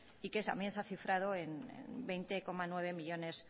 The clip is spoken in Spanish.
y que también se ha cifrado en veinte coma nueve millónes